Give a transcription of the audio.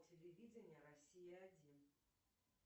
телевидение россия один